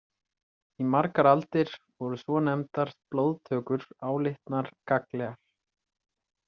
Í margar aldir voru svonefndar blóðtökur álitnar gagnlegar.